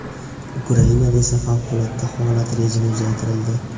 Ukrainada esa favqulodda holat rejimi uzaytirildi .